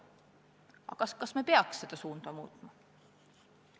Aga kas me peaks seda suunda muutma?